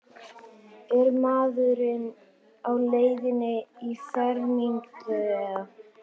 Er maðurinn á leiðinni í fermingu eða?